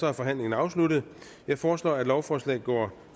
er forhandlingen er afsluttet jeg foreslår at lovforslaget går